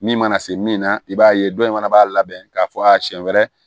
Min mana se min na i b'a ye dɔ in fana b'a labɛn k'a fɔ a siɲɛ wɛrɛ